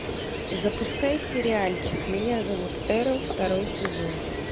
запускай сериальчик меня зовут эрл второй сезон